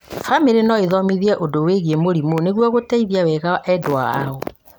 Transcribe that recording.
bamĩrĩ no ĩĩthomithie ũndũ wĩgiĩ mũrimũ nĩguo gũteithia wega endwa ao